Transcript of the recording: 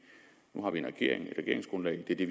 regeringsgrundlaget er det